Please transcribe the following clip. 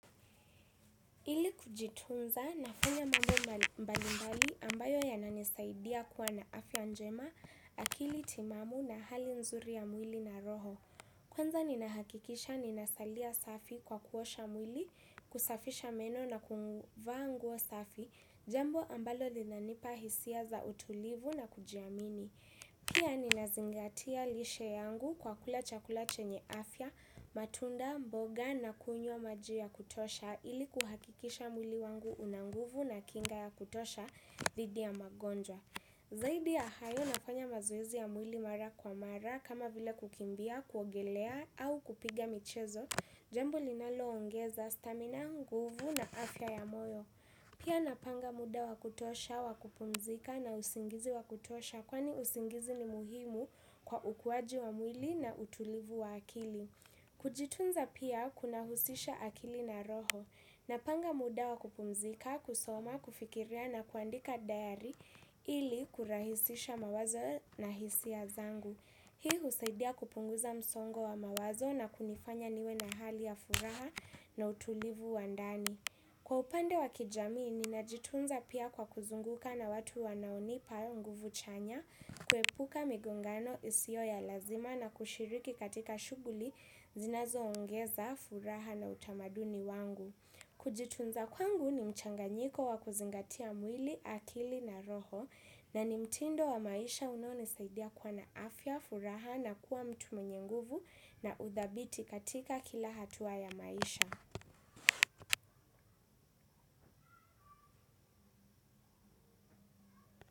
Ili kujitunza nafanya mambo mbalimbali ambayo yananisaidia kuwa na afya njema, akili timamu na hali nzuri ya mwili na roho. Kwanza ninahakikisha ninasalia safi kwa kuosha mwili, kusafisha meno na kuvaa nguo safi, jambo ambalo linanipa hisia za utulivu na kujiamini. Pia ninazingatia lishe yangu kwa kula chakula chenye afya, matunda, mboga na kunywa maji ya kutosha ili kuhakikisha mwili wangu una nguvu na kinga ya kutosha dhidi ya magonjwa. Zaidi ya hayo nafanya mazoezi ya mwili mara kwa mara kama vile kukimbia, kuogelea au kupiga michezo, jambo linalo ongeza stamina, nguvu na afya ya moyo. Pia napanga muda wa kutosha, wa kupumzika na usingizi wa kutosha kwani usingizi ni muhimu kwa ukuwaji wa mwili na utulivu wa akili. Kujitunza pia kunahusisha akili na roho. Napanga muda wakupumzika, kusoma, kufikiria na kuandika dayari ili kurahisisha mawazo na hisia zangu. Hii husaidia kupunguza msongo wa mawazo na kunifanya niwe na hali ya furaha na utulivu wa ndani. Kwa upande wa kijamii, ninajitunza pia kwa kuzunguka na watu wanaonipa nguvu chanya, kuepuka migongano isiyo ya lazima na kushiriki katika shughuli, zinazo ongeza, furaha na utamaduni wangu. Kujitunza kwangu ni mchanganyiko wa kuzingatia mwili, akili na roho, na ni mtindo wa maisha unao ni saidia kuwa na afya, furaha na kuwa mtu mwenye nguvu na udhabiti katika kila hatuwa ya maisha.